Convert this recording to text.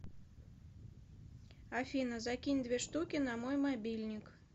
афина закинь две штуки на мой мобильник